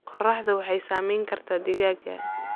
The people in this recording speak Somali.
Qorraxdu waxay saameyn kartaa digaagga.